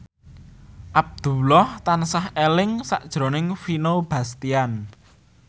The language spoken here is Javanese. Abdullah tansah eling sakjroning Vino Bastian